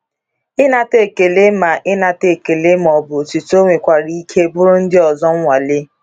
Ịnata ekele ma Ịnata ekele ma ọ bụ otito nwekwara ike bụụrụ ndị ọzọ nwale.